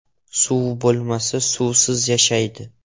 Suv bo‘lmasa, suvsiz yashaydi.